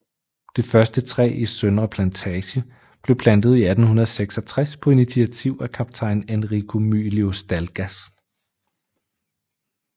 Det første træ i Søndre Plantage blev plantet i 1866 på initiativ af kaptajn Enrico Mylius Dalgas